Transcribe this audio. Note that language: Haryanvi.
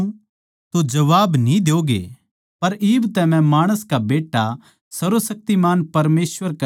पर इब तै मै माणस का बेट्टा सर्वशक्तिमान परमेसवर कै सोळी ओड़ बैठ्या रहूँगा